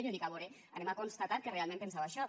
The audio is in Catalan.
i jo dic a vore anem a constatar que realment penseu això